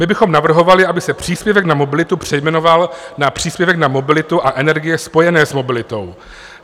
My bychom navrhovali, aby se příspěvek na mobilitu přejmenoval na příspěvek na mobilitu a energie spojené s mobilitou.